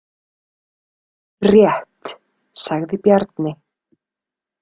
Rétt, sagði Bjarni.